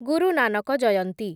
ଗୁରୁ Nanak ଜୟନ୍ତୀ